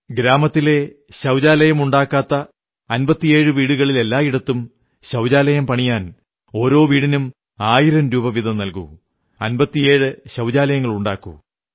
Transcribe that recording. ഗ്രാമത്തിലെ ശൌചാലയമുണ്ടാക്കാത്ത 57 വീടുകളിലെല്ലായിടത്തും ശൌചാലയും പണിയാൻ ഓരോ വീടിനും ആയിരം രൂപ വീതം നല്കൂ 57 ശൌചാലയങ്ങളുണ്ടാക്കൂ